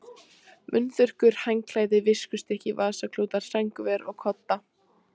Munnþurrkur, handklæði, viskustykki, vasaklúta, sængurver og kodda.